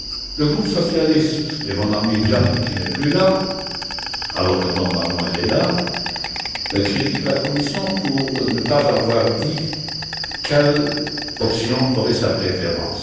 Le groupe socialiste et mon ami Gianni qui n'est plus là, alors que normalement il est présent critique la Commission pour ne pas avoir dit quelle option aurait sa préférence.